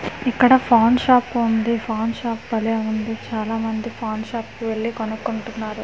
ఇక్కడ పాన్ షాప్ ఉంది పాన్ షాప్ బలే ఉందిచాలా మంది పాన్ షాప్ కి వెళ్ళి కొనుకుంటున్నారు.